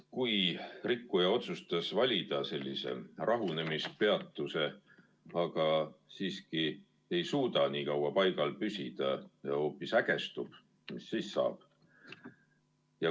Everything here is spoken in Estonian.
Kui rikkuja otsustab valida rahunemispeatuse, aga siiski ei suuda nii kaua paigal püsida ja hoopis ägestub, mis siis saab?